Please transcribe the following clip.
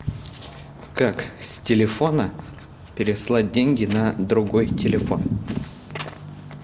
как с телефона переслать деньги на другой телефон